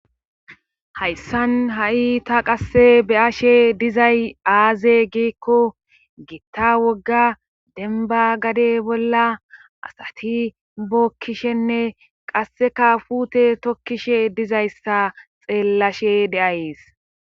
hayssan ha7i ta qasse beyashe dizay aaze giikko giitta wogga denba gade bolla asati bookkishenne qasseka fute tokkishe dizayssa xeellashe deays